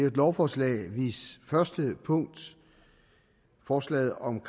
et lovforslag hvis første punkt forslaget om